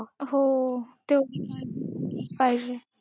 हो. पाहिजे.